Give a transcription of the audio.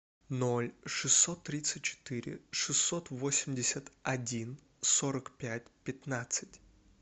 ноль шестьсот тридцать четыре шестьсот восемьдесят один сорок пять пятнадцать